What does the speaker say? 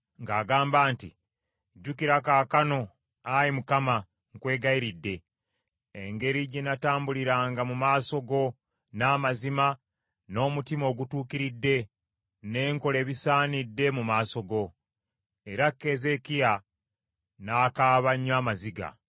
ng’agamba nti, “Jjukira kaakano, Ayi Mukama , nkwegayiridde, engeri gye natambuliranga mu maaso go n’amazima n’omutima ogutuukiridde, ne nkola ebisaanidde mu maaso go.” Era Keezeekiya n’akaaba nnyo amaziga.